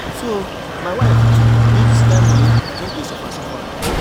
So my wife get dis kind moni, I just dey suffer suffer.